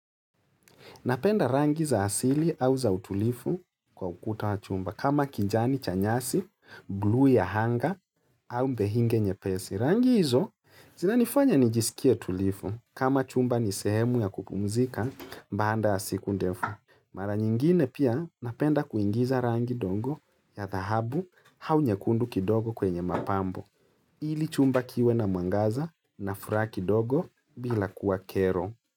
Napenda rangi za asili au za utulifu kwa ukuta wa chumba kama kinjani chanyasi, bluu ya anga au mbehinge nye pesi. Rangi hizo zina nifanya nijisikia tulifu kama chumba ni sehemu ya kupumzika mbaanda ya siku ndefu. Mara nyingine pia napenda kuingiza rangi dongo ya dhahabu au nyekundu kidogo kwenye mapambo. Ili chumba kiwe na muangaza na furaki dogo bila kuwa kero.